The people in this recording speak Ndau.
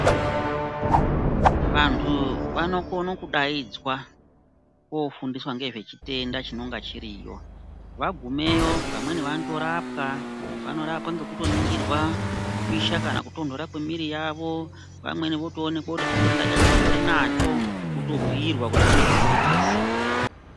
Vantu vanokone kudaidzwa, kofundiswa ngezvechitenda chinonga chiriyo. Vagumeyo vamweni vanotorapwa, vanotoorapwa ngekutoningirwa kupisha kana kutonhora kwemwiri yavo , vamweni votoonekwa kuti chitenda chacho vatori nacho ,votobhuirwa kuti vanochidziirira sei.